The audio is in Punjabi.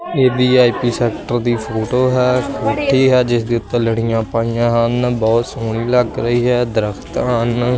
ਇਹ ਵੀ_ਆਈ_ਪੀ ਸੈਕਟਰ ਦੀ ਫ਼ੋਟੋ ਹੈ ਕੋਠੀ ਐ ਜਿਸ ਦੇ ਓੱਤੇ ਲੜੀਆਂ ਪਈਆਂ ਹਨ ਬਹੁਤ ਸੋਹਣੀ ਲੱਗ ਰਹੀ ਹੈ ਦਰਖਤ ਹਨ।